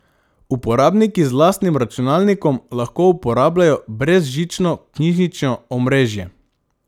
Uporabniki z lastnim računalnikom lahko uporabljajo brezžično knjižnično omrežje.